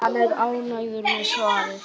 Hann er ánægður með svarið.